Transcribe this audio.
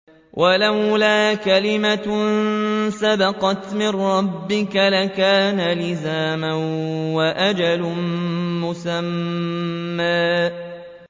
وَلَوْلَا كَلِمَةٌ سَبَقَتْ مِن رَّبِّكَ لَكَانَ لِزَامًا وَأَجَلٌ مُّسَمًّى